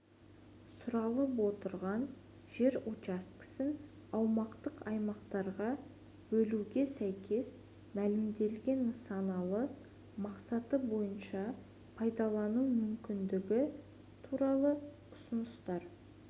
сұралып отырған жер учаскесін аумақтық аймақтарға бөлуге сәйкес мәлімделген нысаналы мақсаты бойынша пайдалану мүмкіндігі туралы ұсыныстар